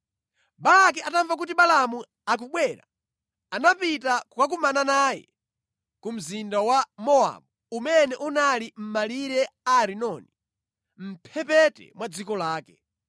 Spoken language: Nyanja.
Balaki atamva kuti Balaamu akubwera, anapita kukakumana naye ku mzinda wa Mowabu umene unali mʼmalire a Arinoni, mʼmphepete mwa dziko lake.